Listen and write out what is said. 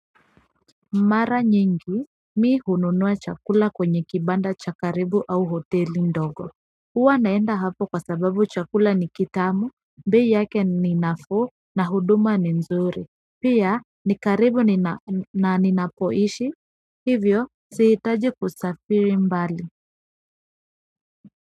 Mara nyingi mi hununua chakula kwenye kibanda cha karibu au hoteli ndogo huwa naenda hapo kwa sababu chakula ni kitamu, bei yake ni nafuu na huduma ni nzuri pia ni karibu na ninapoishi, hivyo sihitaji kusafiri mbali.